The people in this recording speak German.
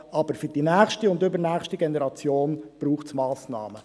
Aber für die nächste und übernächste Generation braucht es Massnahmen.